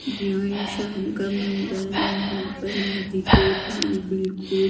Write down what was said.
यह शाम का मंदिर है यहां पर नदी के पास बिल्कुल--